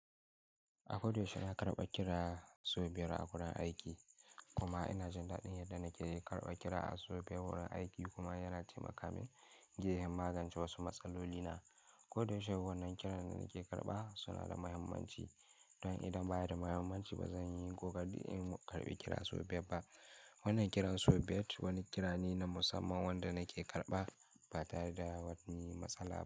A koda yaushe na karɓa kira sau biyar a wurin aiki kuma ina jin daɗin yadda na ke karɓa kira a sau biyar wurin aiki kuma yana taimaka min in magance wasu matsaloli na. Koda yaushe wannan kiran da nake karɓa suna da muhimmanci don idan baya da muhimmanci ba zan yi kokarin karɓi kira sau biyar ba. Wannan kiran sau biyar wani kira ne na musamman wanda nake karɓa ba tare da wani matsala ba.